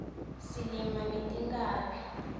silima ngetinkhabi